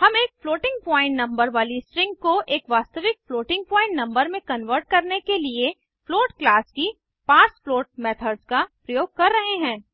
हम एक floating point number वाली स्ट्रिंग को एक वास्तविक फ्लोटिंग पॉइंट नंबर में कन्वर्ट करने के लिए फ्लोट क्लास की पार्सफ्लोट मेथड्स का प्रयोग कर रहे हैं